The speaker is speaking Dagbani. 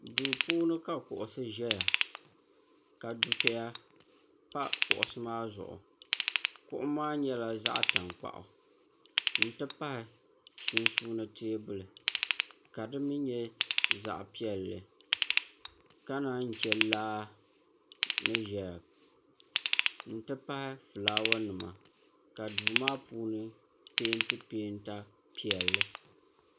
duu puuni ka kuɣisi ʒɛya ka dufeya pa kuɣisi maa zuɣu kuɣu maa nyɛla zaɣ' tankpaɣu nti pahi sunsuuni teebuli ka di mi nyɛ zaɣ' piɛlli ka naan che laa ni ʒɛya nti pahi fulaawanima ka duu maa puuni peenti pee ta piɛlli